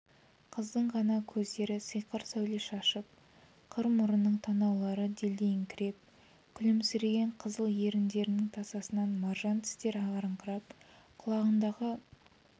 қыздың ғана көздері сиқыр сәуле шашып қыр мұрынның танаулары делдиіңкіреп күлімсіреген қызыл еріндердің тасасынан маржан тістер ағараңдап құлағындағы